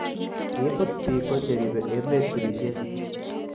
Kibut Biko cheribe emet birishet